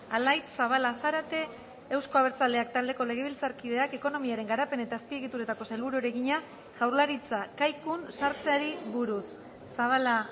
alaitz zabala zarate euzko abertzaleak taldeko legebiltzarkideak ekonomiaren garapen eta azpiegituretako sailburuari egina jaurlaritza kaikun sartzeari buruz zabala